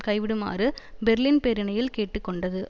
கைவிடுமாறு Berlin பேரணியில் கேட்டு கொண்டது